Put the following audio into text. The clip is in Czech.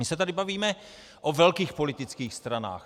My se tady bavíme o velkých politických stranách.